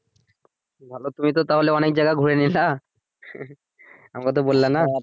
ভালো তাহলে তুমি অনেক জায়গায় ঘুরে নিয়েছো আমাকে তো বললে না